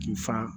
K'i fa